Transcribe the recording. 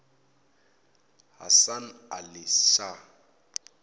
hasan ali shah